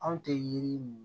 Anw tɛ yiri ninnu